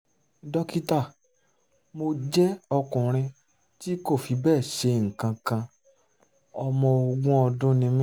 dókítà mo jẹ́ ọkùnrin tí kò fi bẹ́ẹ̀ ṣe nǹkan kan ọmọ ogún ọdún ni mí